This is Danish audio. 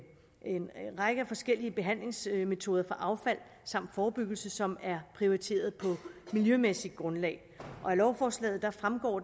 række forskellige behandlingsmetoder af affald samt forebyggelse som er prioriteret på et miljømæssigt grundlag af lovforslaget fremgår